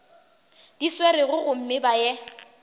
di swerego gomme ba ye